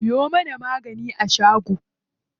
Siyo mana magani a shago.